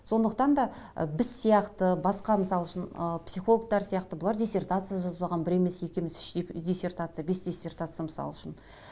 сондықтан да ы біз сияқты басқа мысал үшін ы психологтар сияқты бұлар диссертация жазбаған бір емес екі емес үш диссертация бес диссертация мысал үшін